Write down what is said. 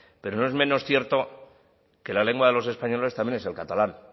pero no es menos cierto que la lengua de los españoles también es el catalán